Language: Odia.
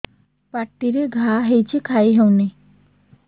ପାଟିରେ ଘା ହେଇଛି ଖାଇ ହଉନି